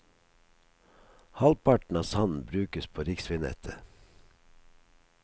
Halvparten av sanden brukes på riksveinettet.